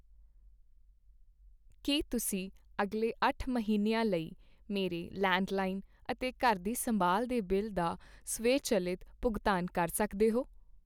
ਕੀ ਤੁਸੀਂਂ ਅਗਲੇ ਅੱਠ ਮਹੀਨਿਆਂ ਲਈ ਮੇਰੇ ਲੈਂਡਲਾਈਨ ਅਤੇ ਘਰ ਦੀ ਸੰਭਾਲ ਦੇ ਬਿੱਲ ਦਾ ਸਵੈਚੱਲਿਤ ਭੁਗਤਾਨ ਕਰ ਸਕਦੇ ਹੋ?